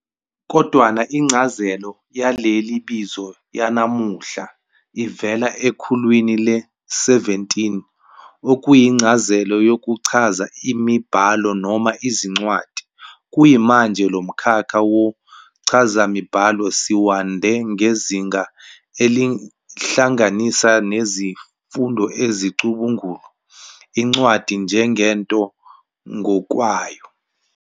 Kodwana incazelo yaleli bizo yanamuhla ivela ekhulwini le-17, okuyincazelo yokuchaza imibhalo noma izincwadi. Kuyimanje, lomkhakha womchazamibhalo siwande ngezinga elihlanganisa nezifundo ezicubungula incwadi njengento ngokwayo.